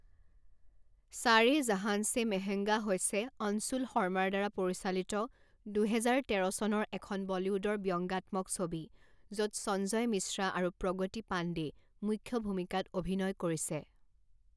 সাৰে জাহান ছে মেহংগা হৈছে অনশুল শৰ্মাৰ দ্বাৰা পৰিচালিত দুহেজাৰ তেৰ চনৰ এখন বলীউডৰ ব্যংগাত্মক ছবি, য'ত সঞ্জয় মিশ্ৰা আৰু প্ৰগতি পাণ্ডে মুখ্য ভূমিকাত অভিনয় কৰিছে।